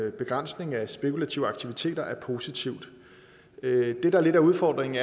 en begrænsning af spekulative aktiviteter er positivt det der lidt er udfordringen